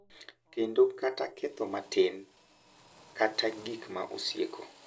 Kendo kata ketho matin kata gik ma osieko.